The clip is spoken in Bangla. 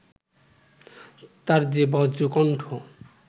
তার যে বজ্রকন্ঠ